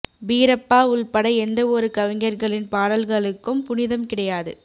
பீரப்பா உள்பட எந்த ஒரு கவிஞர்களின் பாடல்களுக்கும் புனிதம் கிடையாது